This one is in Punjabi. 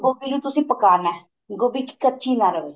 ਗੋਭੀ ਨੂੰ ਤੁਸੀਂ ਪਕਾਣਾ ਗੋਭੀ ਕੱਚੀ ਨਾ ਰਵੇ